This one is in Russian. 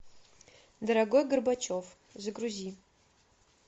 дорогой горбачев загрузи